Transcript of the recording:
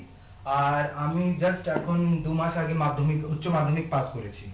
আমি just এখন দু মাস আগে মাধ্যমিক উচ্চ মাধ্যমিক পাশ করেছি